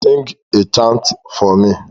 Sing a chant for me